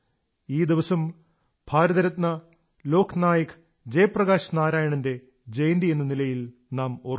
ഈ ദിവസം ഭാരതരത്ന ലോക്നായക് ജയപ്രകാശ് നാരായണന്റെ ജയന്തിയെന്ന നിലയിൽ നാം ഓർക്കുന്നു